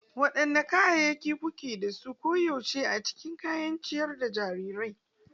Wadanne kayayyaki kuke da su koyaushe a cikin kayan ciyar da jarirai?